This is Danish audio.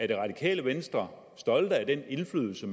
det radikale venstre stolte af den indflydelse